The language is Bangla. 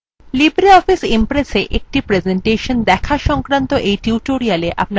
libreoffice impress এ একটি প্রেসেন্টেশন দেখা সংক্রান্ত এই টিউটোরিলে আপনাদের স্বাগত জানাচ্ছি